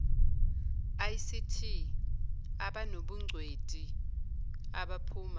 ict abanobungcweti abaphuma